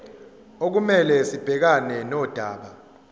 okumele sibhekane nodaba